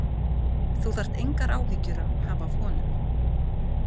Þú þarft engar áhyggjur að hafa af honum.